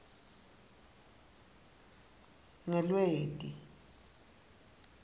ngelweti